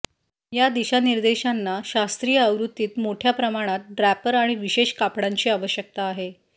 या दिशानिर्देशांना शास्त्रीय आवृत्तीत मोठ्या प्रमाणात ड्रॅपर आणि विशेष कापडांची आवश्यकता आहे